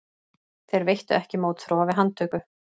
Þeir veittu ekki mótþróa við handtöku